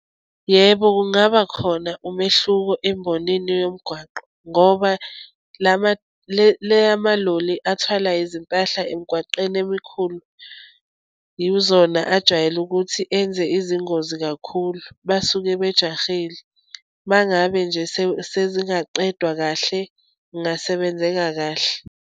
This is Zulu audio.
Yebo, kungaba khona umehluko embonini yomgwaqo, ngoba lama le eyamaloli athwala izimpahla emgwaqeni emikhulu, yizona ajwayele ukuthi enze izingozi kakhulu, basuke bejahile. Uma ngabe nje sezingaqedwa kahle, kungasebenzeka kahle.